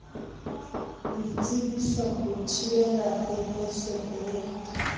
boitsebiso ho thibela pepeso e